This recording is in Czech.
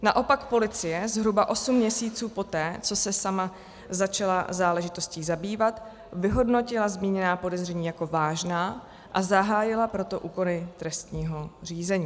Naopak policie zhruba osm měsíců poté, co se sama začala záležitostí zabývat, vyhodnotila zmíněná podezření jako vážná, a zahájila proto úkony trestního řízení.